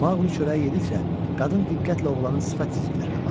Maqli çörəyi yedikcə qadın diqqətlə oğlanın sifət cizgilərinə baxırdı.